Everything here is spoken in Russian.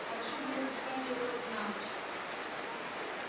хорошо бы выпускать её хоть на ночь